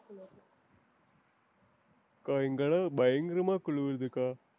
அக்கா இங்கலாம் பயங்கரமா குளிருதுக்கா.